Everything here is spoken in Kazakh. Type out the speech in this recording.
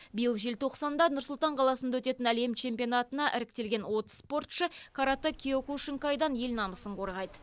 биыл желтоқсанда нұр сұлтан қаласында өтетін әлем чемпионатына іріктелген отыз спортшы каратэ киокушинкайдан ел намысын қорғайды